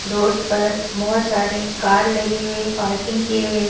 road पर बहुत सारे कार लगे हुए पार्किंग किये हुए --